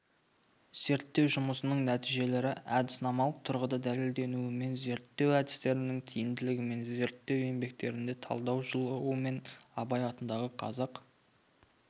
зерттеу жұмысының нәтижелері әдіснамалық тұрғыда дәлелденуімен зерттеу әдістерінің тиімділігімен зерттеу еңбектерінде талдау жылуымен абай атындағы қазақ